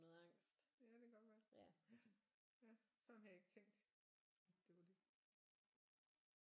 Ja det kan godt være ja ja sådan havde jeg ikke tænkt at det var det